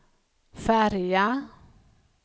färja